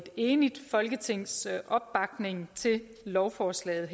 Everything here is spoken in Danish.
enigt folketings opbakning til lovforslaget